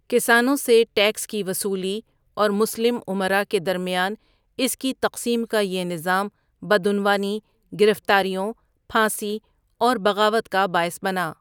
کسانوں سے ٹیکس کی وصولی اور مسلم امرا کے درمیان اس کی تقسیم کا یہ نظام بدعنوانی، گرفتاریوں، پھانسی اور بغاوت کا باعث بنا۔